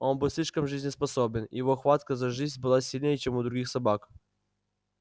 он был слишком жизнеспособен и его хватка за жизнь была сильнее чем у других собак